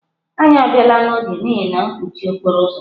Anyị abịala n'oge n'ihi mkpọchi okporo ụzọ.